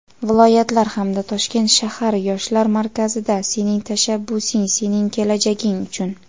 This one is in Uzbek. viloyatlar hamda Toshkent shahar yoshlar markazida "Sening tashabbusing – sening kelajaging uchun!"